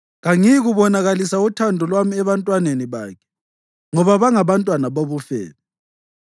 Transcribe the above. Kangiyikubonakalisa uthando lwami ebantwaneni bakhe, ngoba bangabantwana bobufebe.